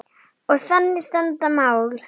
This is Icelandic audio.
Og þannig standa mál.